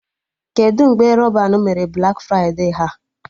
Kedụ mgbe Rọban mere Blak fride ha?